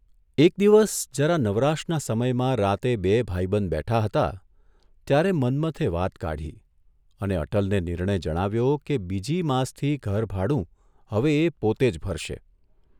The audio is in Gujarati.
એક દિવસ જરા નવરાશનાં સમયમાં રાતે બેય ભાઇબંધ બેઠા હતા ત્યારે મન્મથે વાત કાઢી અને અટલને નિર્ણય જણાવ્યો કે બીજી માસથી ઘરભાડું હવે એ પોતે જ ભરશે.